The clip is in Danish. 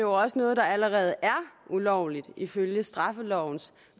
også noget der allerede er ulovligt ifølge straffelovens